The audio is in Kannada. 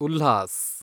ಉಲ್ಹಾಸ್